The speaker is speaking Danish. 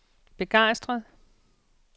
begejstret